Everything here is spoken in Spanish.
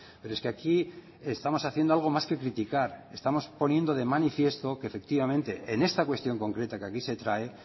pero es que aquí estamos haciendo algo más que criticar estamos poniendo de manifiesto que efectivamente en esta cuestión concreta que aquí se trae